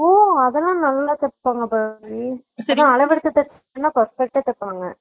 ஓ அதுல்லா நல்லா தேப்பாங்க பரணி என்ன அளவெடுத்து தேச்சா perfect டா தேப்பாங்க